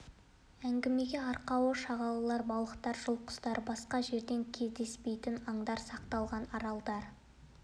әңгіме арқауы шағалалар балықтар жыл құстары басқа жерде кездеспейтін аңдар сақталған аралдар